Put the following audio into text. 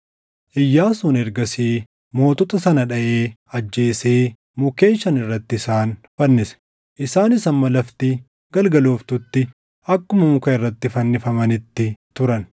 Iyyaasuun ergasii mootota sana dhaʼee ajjeesee mukkeen shan irratti isaan fannise; isaanis hamma lafti galgalooftutti akkuma muka irratti fannifamanitti turan.